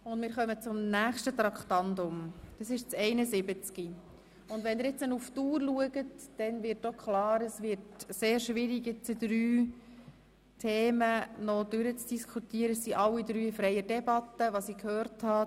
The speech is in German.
Wir kommen zu Traktandum 71, der Motion «Kinderbetreuung in Beschäftigungs- und Integrationsprogrammen».